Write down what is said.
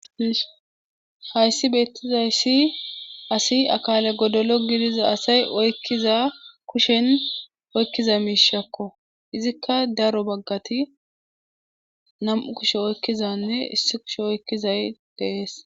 Hayssi beettizayssi asi akaale godolo gidiza asay oykkiza kushen oykkiza miishakko izikka daro bagati nam7u kushe oykkizanne issi kushe oykkizay de7es.